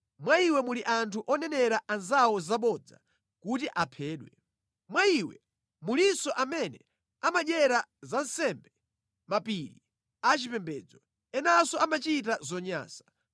Mwa iwe muli anthu onenera anzawo zabodza kuti aphedwe. Mwa iwe mulinso amene amadyera zansembe pa mapiri a chipembedzo. Enanso amachita zonyansa.